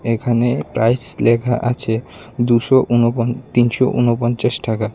এখানে প্রাইস লেখা আছে দুশো ঊনপঞ্চা-তিনশো ঊনপঞ্চাশ টাকা।